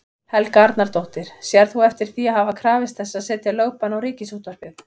Helga Arnardóttir: Sérð þú eftir því að hafa krafist þess að setja lögbann á Ríkisútvarpið?